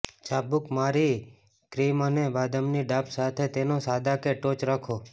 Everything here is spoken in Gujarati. ચાબૂક મારી ક્રીમ અને બદામની ડાબ સાથે તેને સાદા કે ટોચ રાખો